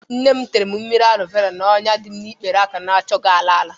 Nnem tere m mmiri alo vera n'ọnya dịm n'ikpere aka na-achọghi ala ala.